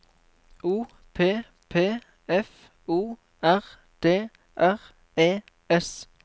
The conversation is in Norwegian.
O P P F O R D R E S